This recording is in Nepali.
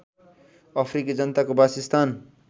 अफ्रिकी जनताको बासस्थान